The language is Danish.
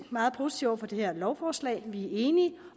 meget positiv over for det her lovforslag vi er enige